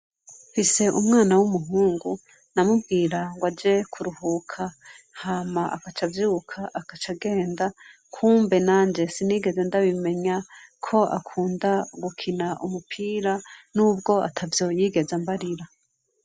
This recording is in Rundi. Mfise umwana w'umuhungu, namubwira ng'aje kuruhuka, hama akaca avyuka akaca agenda ,kumbe nanje sinigeze ndabimenya ko akunda gukina umupira ,nubwo atavyo yigeze ambarira.